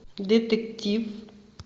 детектив